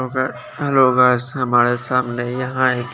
तुके लोगो हमारे सामने यहाँ आयगी--